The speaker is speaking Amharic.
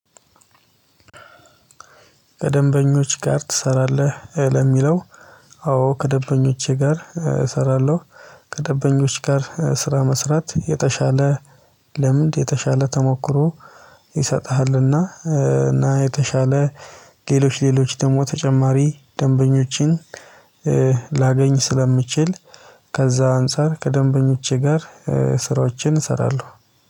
ከደንበኞች ጋር ትሰራለህ? ለሚለው አዎ ከደንበኞቼ ጋር እሰራለሁ ከደበኞች ጋር ስራ መስራት የተሻለ ልምድ የተሻለ ተሞክሮ ይሰጥሃልና እና የተሻለ ሌሎች ሌሎች ደግሞ ተጨማሪ ደንበኞችን ላገኝ ስለምችል ከዛ አንፃር ከደንበኞቼ ጋር ስራዎችን እሰራለሁ።